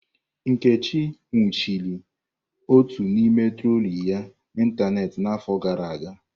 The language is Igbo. Nkechi nwụchiri otu n'ime troli ya n'ịntanetị n'afọ gara aga.